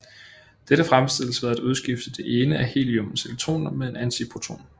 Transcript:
Dette fremstilles ved at udskifte det ene af heliummets elektroner med en antiproton